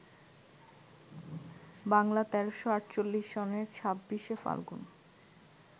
বাংলা ১৩৪৮ সনের ২৬শে ফাল্গুন